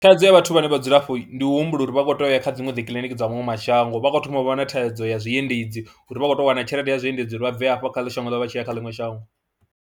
Thaidzo ya vhathu vhane vha dzula afho ndi u humbula uri vha khou tea u ya kha dziṅwe dzi kiḽiniki dza maṅwe mashango, vha khou thoma u vha na thaidzo ya zwiendedzi uri vha khou tou wana tshelede ya zwiendedzi uri vha bve hafha kha shango ḽavho vha tshi ya kha ḽiṅwe shango.